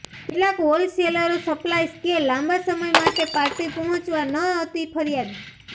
કેટલાક હોલસેલરો સપ્લાયર્સ કે લાંબા સમય માટે પાર્ટી પહોંચાડવા ન હતી ફરિયાદ